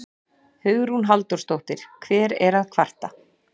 Hugrún Halldórsdóttir: Hver er að kvarta?